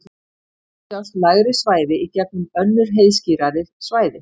stundum sjást lægri svæði í gegnum önnur heiðskírari svæði